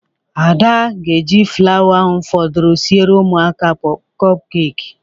Ada ga-eji flawa ahụ fọdụrụ siere ụmụaka a kọp keeki.